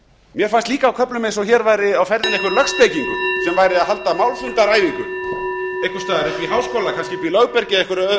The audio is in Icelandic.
mér fannst líka á köflum eins og hér væri á ferðinni einhver lögspekingur að halda málfundaræfingu einhvers staðar uppi í háskóla kannski uppi í lögbergi